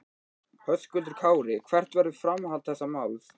Höskuldur Kári: Hvert verður framhald þessa máls?